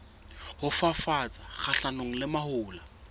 ho fafatsa kgahlanong le mahola